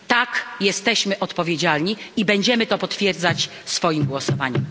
Tak, jesteśmy odpowiedzialni i będziemy to potwierdzać swoim głosowaniem.